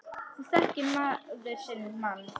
Nú þekkir maður sinn mann.